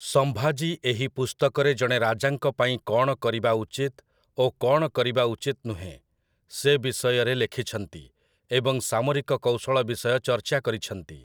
ସମ୍ଭାଜୀ ଏହି ପୁସ୍ତକରେ ଜଣେ ରାଜାଙ୍କ ପାଇଁ କ'ଣ କରିବା ଉଚିତ ଓ କ'ଣ କରିବା ଉଚିତ ନୁହେଁ, ସେ ବିଷୟରେ ଲେଖିଛନ୍ତି, ଏବଂ ସାମରିକ କୌଶଳ ବିଷୟ ଚର୍ଚ୍ଚା କରିଛନ୍ତି ।